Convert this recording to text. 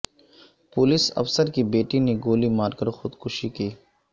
police افسر کی بیٹی نے گولی مارکر خودکشی کی